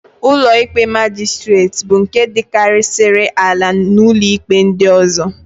Ụlọikpe Majistret bụ nke dịkarịsịrị ala n'ụlọikpe ndị ọ̀zọ́.